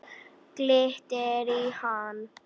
Glittir í hann.